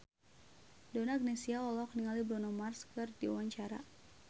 Donna Agnesia olohok ningali Bruno Mars keur diwawancara